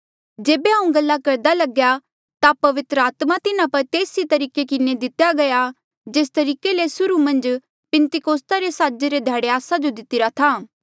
जेबे हांऊँ गल्ला करदा लग्या ता पवित्र आत्मा तिन्हा पर तेस ई तरीके किन्हें दितेया गया जेस तरीके ले सुर्हू मन्झ पिन्तेकुस्ता रे साजे रे ध्याड़े आस्सा जो दितिरा था